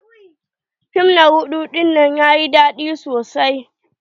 Fim na rudu dinnan yayi daɗi sosai.